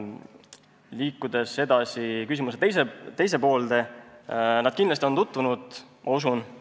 Liikudes edasi küsimuse teise poole juurde, ütlen, et nad on kindlasti selle tekstiga tutvunud.